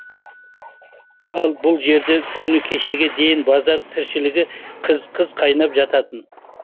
ал бұл жерде күні кешеге дейін базар тіршілігі қыз қыз қайнап жататын